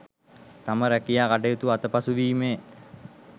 තම රැකියා කටයුතු අතපසුවීමේ